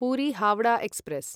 Puri Howrah express